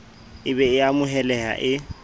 e be e amohelehang e